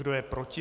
Kdo je proti?